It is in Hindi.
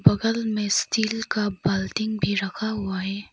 बगल में स्टील का बाल्टी भी रखा हुआ है।